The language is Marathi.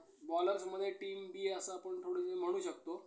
bowlers मध्ये team-B आहे असं आपण थोडंसं म्हणू शकतो.